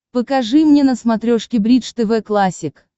покажи мне на смотрешке бридж тв классик